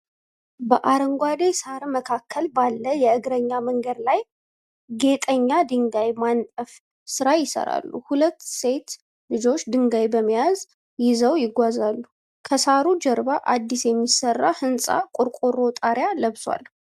በአረንጓዴ ሳር መካከል ባለ የእግረኛ መንገድ ላይ ጌጠኛ ድንጋይ ማንጠፍ ስራ ይሰራሉ። ሁለት ሴት ልጆች ድንጋይ በመያዣ ይዘዉ ይጓዛሉ። ከሳሩ ጀርባ አዲስ የሚሰራ ህንፃ ቆርቆሮ ጣሪያ ለብሷል።